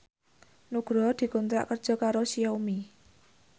Nugroho dikontrak kerja karo Xiaomi